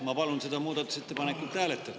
Ma palun seda muudatusettepanekut hääletada.